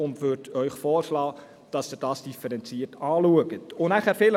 Ich schlage Ihnen vor, dies differenziert anzuschauen.